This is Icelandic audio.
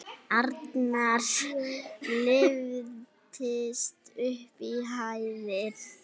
Arnar lyftist upp í hæðir.